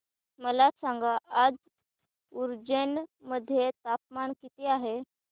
मला सांगा आज उज्जैन मध्ये तापमान किती आहे